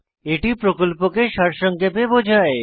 এটি প্রকল্পকে সারসংক্ষেপে বোঝায়